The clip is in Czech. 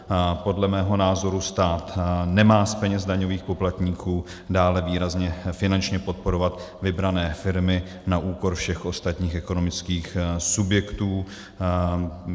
Podle mého názoru stát nemá z peněz daňových poplatníků dále výrazně finančně podporovat vybrané firmy na úkor všech ostatních ekonomických subjektů.